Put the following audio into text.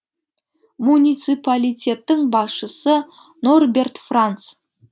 муниципалитеттің басшысы норберт франц